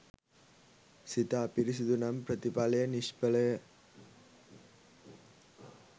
සිත අපිරිසුදු නම් ප්‍රතිඵලය නිෂ්ඵලය.